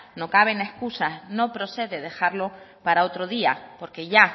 no caben escusas no procede dejarlo para otro día porque ya